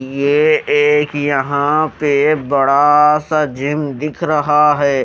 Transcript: ये एक यहाँ पे बड़ााा सा जिम दिख रहा है।